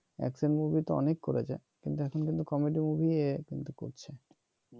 action movie তো অনেক করেছে কিন্তু এখন কিন্তু কমেডি এ কিন্তু করছে